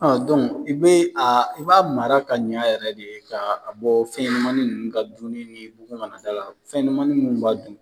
Ɔ i bɛ i b'a mara ka ɲɛ yɛrɛ de ye ka bɔ fɛnɲɛnamani ninnu ka dunni ni bugun kana d'a la fɛnɲɛnamani minnu b'a dun